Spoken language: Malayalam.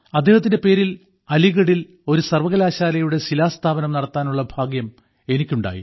അദ്ദേഹത്തിന്റെ പേരിൽ അലീഗഡിൽ ഒരു സർവ്വകലാശാലയുടെ ശിലാസ്ഥാപനം നടത്താനുള്ള ഭാഗ്യം എനിക്കുണ്ടായി